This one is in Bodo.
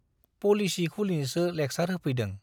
पलिसि खुलिनोसो लेक्सार होफैदों।